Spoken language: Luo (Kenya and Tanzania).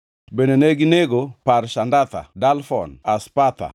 Bende neginego Parshandatha, Dalfon, Aspatha,